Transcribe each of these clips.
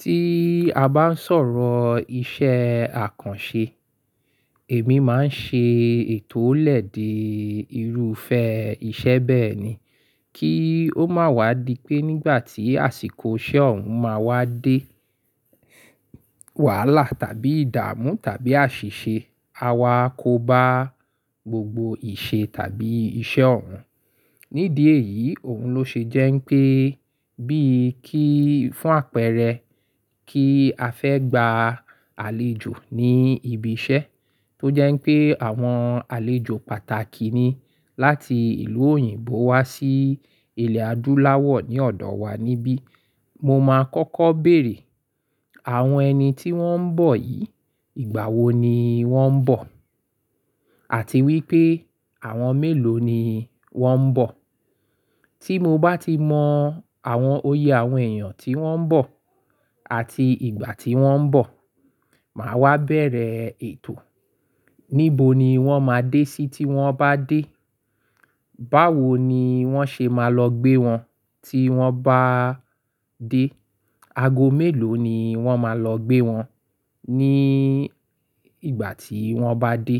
Tí a bá ń sọ̀rọ̀ iṣẹ́ àkànṣe, èmi má ń ṣe ètò ó lè dé irúfẹ́ iṣẹ́ bẹ́ẹ̀ ni. Kí ó máa wá di pé nígbà tí àsìkò iṣẹ́ ọ̀hún máa wá dé, wàhálà tàbí ìdààmú tàbí àṣìṣe, a wá kóbá gbogbo ìṣe tàbí iṣẹ́ ọ̀hún. Nídìí èyí òun ló ṣe jẹ́ pé bí kí fún àpẹẹrẹ kí a fẹ́ gba àlejò ní ibi iṣẹ́ tó jẹ́ pé àwọn àlejò pàtàkì ni láti ìlú òyìnbó wá sí ilẹ̀ adúláwọ̀ ní ọ̀dọ̀ wa níbí. Mo máa kọ́kọ́ béèrè àwọn ẹni tí wọ́n ń bọ̀ yìí ìgbà wo ni wọ́n ń bọ̀? Àti wípé àwọn mélòó ni wọ́n ń bọ̀? Tí mo bá ti mọ àwọn oyè àwọn èèyàn tí wọ́n ń bọ̀ àti ìgbà tí wọ́n ń bọ̀, màá wá bẹ̀rẹ̀ ètò. Níbo ni wọ́n máa dé sí tí wọ́n bá dé? Báwo ni wọ́n ṣe máa lọ gbé wọn tí wọ́n bá dé? Ago mélòó ni wọ́n máa lọ gbé wọn ní ìgbà tí wọ́n bá dé?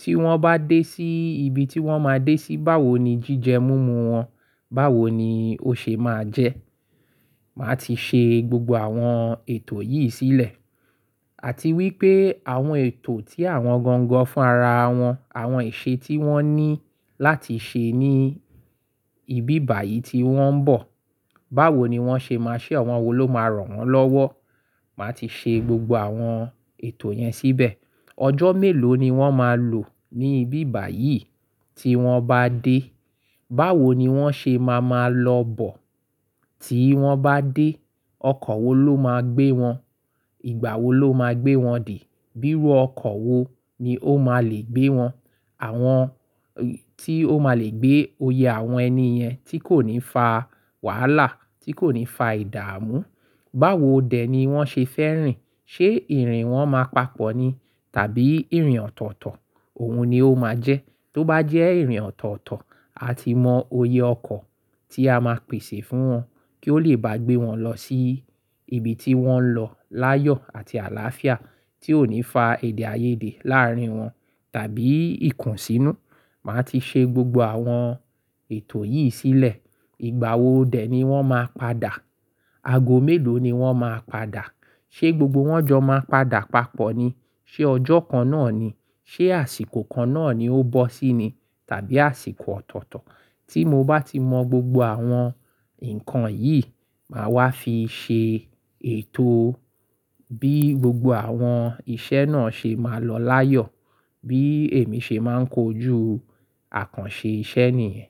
Tí wọ́n bá dé sí ibi tí wọ́n máa dé sí, báwo ni jíjẹ múmu wọn? Báwo ni ó ṣe máa jẹ́? Màá ti ṣe gbogbo àwọn ètò yìí sílẹ̀. Àti wípé àwọn ètò tí àwọn gangan fún ara wọn, àwọn ìṣe tí wọ́n ní láti ṣe ní ibi bà yìí tí wọ́n ń bọ̀. Báwo ni wọ́n ṣe máa ṣe? Àwọn wo ló máa ràn wọ́n lọ́wọ́? Màá ti ṣe gbogbo àwọn ètò yẹn síbẹ̀. Ọjọ́ mélòó ni wọ́n máa lò ní ibi ìbà yìí tí wọ́n bá dé? Báwo ni wọ́n ṣe máa máa lọ bọ̀ tí wọ́n bá dé? Ọkọ̀ wo ló máa gbé wọn? Ìgbà wo ló máa gbé wọn dé? Bírụ ọkọ̀ wo ni ó máa le gbé wọn? Àwọn tí ó máa le gbé oyè àwọn ẹni yẹn tí kò ní fa wàhálà, tí kò ní fa ìdààmú. Báwo dẹ̀ ni wọ́n ṣe fẹ́ rìn? Ṣé ìrìn wọn máa papọ̀ ni tàbí ìrìn ọ̀tọ̀ọ̀tọ̀? Òun ni ó máa jẹ́. Tó bá jẹ́ ìrìn ọ̀tọ̀ọ̀tọ̀, a ti mọ oyè ọkọ̀ tí a máa pèsè fún wọn kí ó lè bá gbé wọn lọ sí ibi tí wọ́n ń lọ láyọ̀ àti àlàáfíà tí ò ní fa èdè àìyedè láàárín wọn tàbí ìkùnsínú. Màá ti ṣe gbogbo àwọn ètò yìí sílẹ̀. Ìgbà wo dẹ̀ ni wọ́n máa padà? Ago mélòó ni wọ́n máa padà? Ṣé gbogbo wọ́n jọ máa padà papọ̀ ni? Ṣé ọjọ́ kan náà ni? Ṣé àsìkò kan náà ni ó bọ́ sí ni tàbí àsìkò ọ̀tọ̀ọ̀tọ̀? Tí mo bá ti mọ gbogbo àwọn nǹkan yìí, màá wá fi ṣe ètò bí gbogbo àwọn iṣẹ́ náà ṣe máa lọ láyọ̀, bí èmi ṣe máa ń kojú àkànṣe iṣẹ́ nìyẹn.